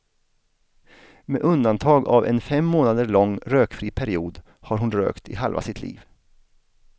Med undantag av en fem månader lång rökfri period har hon har rökt i halva sitt liv.